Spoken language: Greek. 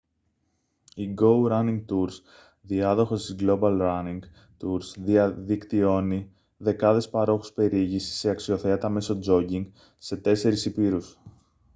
η γκόου ράνινγκ τουρς διάδοχος της γκλόμπαλ ράνινγκ τουρς δικτυώνει δεκάδες παρόχους περιήγησης σε αξιοθέατα μέσω τζόκινγκ σε τέσσερεις ηπείρους